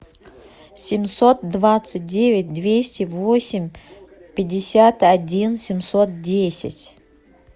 семьсот двадцать девять двести восемь пятьдесят один семьсот десять